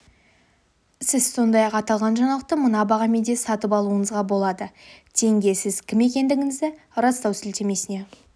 сіз сондай-ақ аталған жаңалықты мына бағамен де сатып алуыңызға болады тенге сіз кім екендігіңізді растау сілтемесіне